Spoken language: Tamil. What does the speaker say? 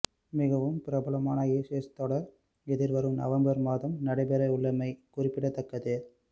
மிகவும் பிரபலமான ஏஷஷ் தொடர் எதிர்வரும் நவம்பர் மாதம் நடைபெறவுள்ளமை குறிப்பிடத்தக்கது